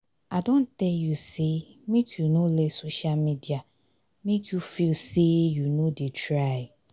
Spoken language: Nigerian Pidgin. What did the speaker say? i don tell you sey make you no let social media make you feel sey you no dey try.